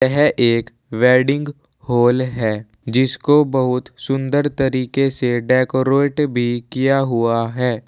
यह एक wedding hall है जिसको बहुत सुंदर तरीके से डेकोरेट भी किया हुआ है।